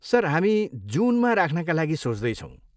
Sir, हामी जुनमा राख्नका लागि सोच्दैछौँ।